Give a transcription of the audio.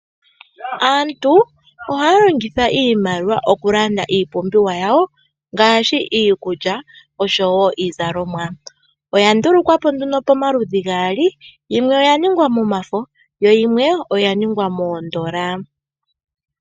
Aantu ohaya longitha iimaliwa okulanda iipumbiwa yawo ngaashi iikulya oshowo iizalomwa. Oyandulukwa po nduno momaludhi gaali yimwe oyaningwa momafo yo yimwe oyaningwa miitenda.